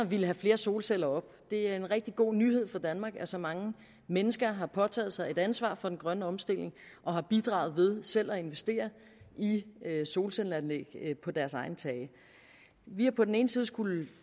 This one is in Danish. ville have flere solceller op det er en rigtig god nyhed for danmark at så mange mennesker har påtaget sig et ansvar for den grønne omstilling og har bidraget ved selv at investere i solcelleanlæg på deres egne tage vi har på den ene side skullet